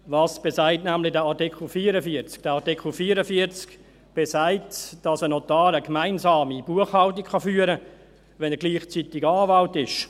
Was besagt nämlich dieser Artikel 44? – Dieser Artikel 44 besagt, dass ein Notar eine gemeinsame Buchhaltung führen kann, wenn er gleichzeitig Anwalt ist.